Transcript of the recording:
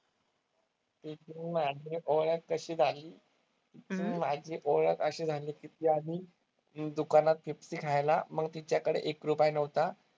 तिची अन माझी ओळख कशी झाली? तिची माझी ओळख अशी झाली की ती आधी दुकानात पेप्सी खायला मग तिच्याकडे एक रुपया नव्हता.